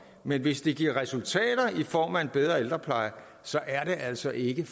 men hvis det giver resultater i form af en bedre ældrepleje så er det altså ikke